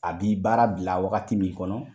A bi baara bila wagati min kɔnɔ